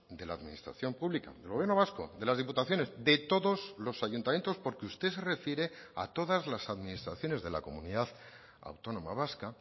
de la administración pública del gobierno vasco de las diputaciones de todos los ayuntamientos porque usted se refiere a todas las administraciones de la comunidad autónoma vasca